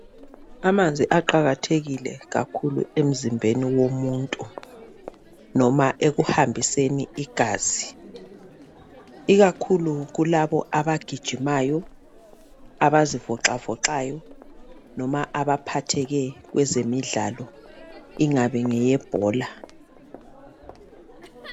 Amanzi aqakathekile kakhulu emzimbeni womuntu noma ekuhambiseni igazi ikakhulu kulabo abagijimayo abazi voxavoxayo noma abaphatheke kwezemidlalo ingabe ngeyebhola.